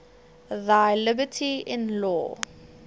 thy liberty in law